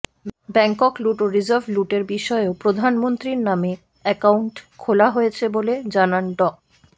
bank লুট ও reserve লুটের বিষয়েও প্রধানমন্ত্রীর নামে অ্যাকাউন্ট খোলা হয়েছে বলে জানান ড